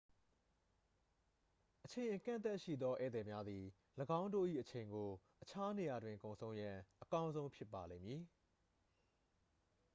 အချိန် အကန့်အသတ်ရှိသော ဧည့်သည်များသည် ၎င်းတို့၏အချိန်ကို အခြားနေရာတွင် ကုန်ဆုံးရန် အကောင်းဆုံးဖြစ်ပါလိမ့်မည်